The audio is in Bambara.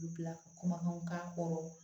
U bila ka kumakanw k'a kɔrɔ